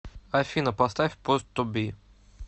афина поставь пост ту би